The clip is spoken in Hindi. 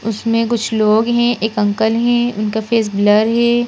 उसमें कुछ लोग है एक अंकल है उनका फेस ब्लर है।